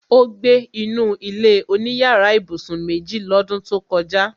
Ó gbé inú ilé-oníyàrá ibùsùn méjì lọ́dún tó kọjá